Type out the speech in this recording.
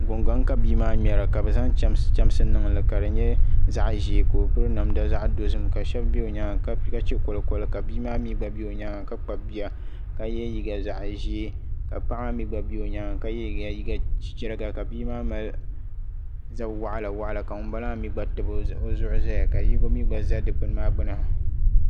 Gungoŋ ka bia maa ŋmɛra ka bi zaŋ chɛmsi niŋli ka di nyɛ zaɣ ʒiɛ ka o piri namda zaɣ dozim ka shab bɛ o nyaanga ka chɛ koli koli ka bia maa mii gba bɛ o nyaanga ka kpabi bia ka yɛ liiga zaɣ ʒiɛ ka paɣa maa mii gba bɛ o nyaanga ka yɛ liiga liigq chichɛra bia maa mali zabi waɣala waɣala ka ŋunbala maa mii gba tabi o zuɣu ʒɛya ka yinga mii gba ʒɛ dikpuni maa gbuni